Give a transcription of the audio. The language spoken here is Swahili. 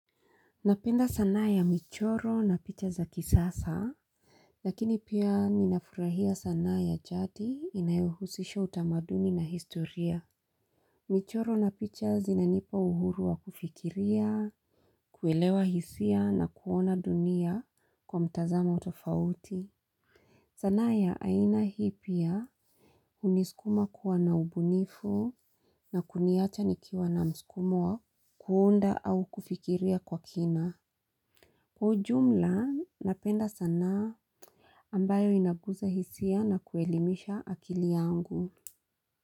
Napenda sanaa ya michoro na picha za kisasa. Lakini pia ninafurahia sanaa ya jadi inayohusisha utamaduni na historia. Michoro na picha zinanipa uhuru wa kufikiria, kuelewa hisia na kuona dunia kwa mtazamo tofauti. Sanaa ya aina hii pia huniskuma kuwa na ubunifu na kuniacha nikiwa na mskumo wa kuunda au kufikiria kwa kina. Kwa ujumla napenda sanaa ambayo inaguza hisia na kuelimisha akili yangu.